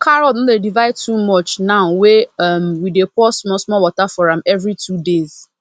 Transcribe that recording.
carrot no dey divide too much now wey um we dey pour small small water for am every two days